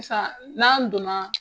Sisan n'an don na.